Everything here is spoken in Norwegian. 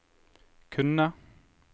kunne